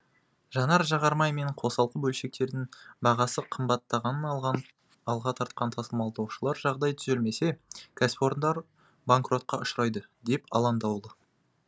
жанар жағармай мен қосалқы бөлшектердің бағасы қымбатталған алға тартқан тасымалдаушылар жағдай түзелмесе кәсіпорындар банкротка ұшырайды деп алаңдаулы